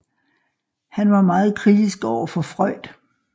Han var meget kritisk overfor Freud